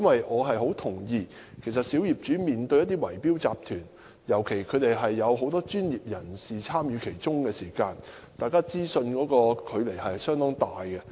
我十分認同小業主面對圍標集團，尤其是有很多專業人士參與的圍標集團時，雙方掌握資訊的差距相當大。